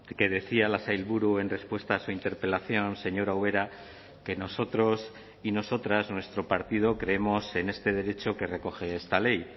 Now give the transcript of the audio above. que decía la sailburu en respuesta a su interpelación señora ubera que nosotros y nosotras nuestro partido creemos en este derecho que recoge esta ley